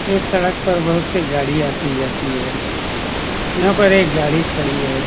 यह सड़क पर बहुत सी गाड़ियां आती जाती है। यहाँ पर एक गाड़ी खड़ी है।